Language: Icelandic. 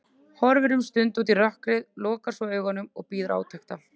Horfir um stund út í rökkrið, lokar svo augunum og bíður átekta.